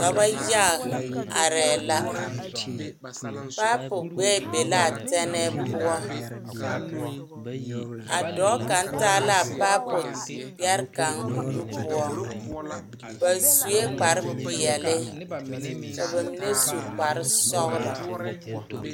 Dɔba yaga arɛɛ la paɛpo gbɛɛ be la a tɛnɛɛ poɔ a dɔɔ kaŋ taa la a paɛpo gbɛre kaŋ o nu poɔ ba sue kparre peɛle ka bamine su kparre sɔgloo.